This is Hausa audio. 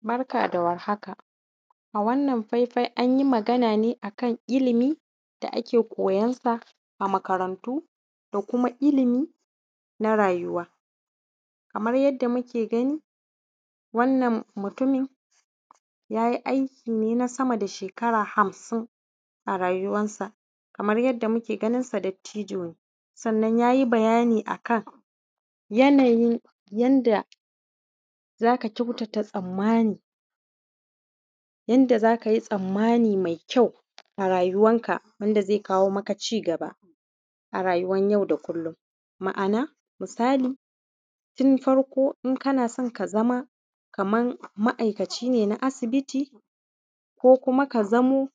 barka da war haka a wannnan faifai anyi magana ne a kan ilimi da ake koyansa a makarantu da kuma ilimi na rayuwa kamar yadda muke gani wannan mutumi yayi aiki ne na sama da shekara hamsin a rayuwan sa kaman yadda muke ganinsa dattijo ne sannan ya yi bayani a kan yanayin yanda za ka kyautata tsammani yadda za ka yi tsammani maikyau a rayuwan ka wanda zai kawo maka cigaba a rayuwan yau da kullum ma'ana misali tun farko in kana son ka zama kaman ma’aikaci ne na asibiti ko kuma ka zamo